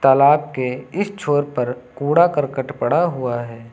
तालाब के इस छोर पर कूड़ा करकट पड़ा हुआ है।